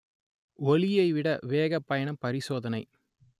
ஒளியை விட வேகப் பயணம் பரிசோதனை